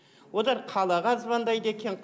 одар қалаға звондайды екен